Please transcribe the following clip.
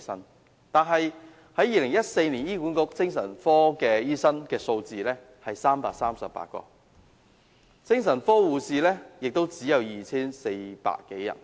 然而，在2014年，醫院管理局的精神科醫生只有338名，精神科護士亦只有 2,400 多人。